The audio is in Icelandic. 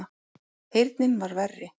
Heyrnin var verri.